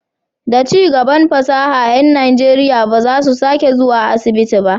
Da cigaban fasaha, ƴan Najeriya ba za su sake zuwa asibiti ba.